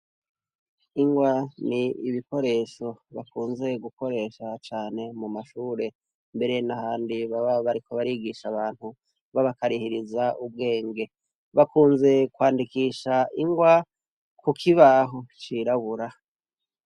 Ingwa ni ibikoresho bakunze gukoresha cane mu mashure mbere n'ahandi baba bariko barigisha abantu babakahiriza ubwenge. Bakunze kwandikisha ingwa ku kibaho cirabura.